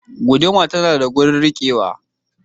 Guuduma tana da wajen rikewa.